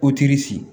Ko tiri